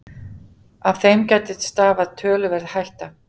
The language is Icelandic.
Af þeim getu stafað töluverð hætta